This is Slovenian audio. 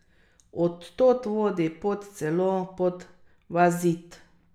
Od tod vodi pot celo pod vaš Zid.